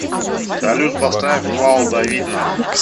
салют поставь вал да видна